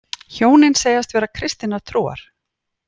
Hjónin segjast vera kristinnar trúar